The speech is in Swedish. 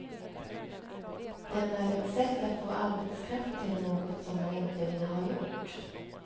Den är ett sätt att få arbetskraft till något som man inte vill ha gjort.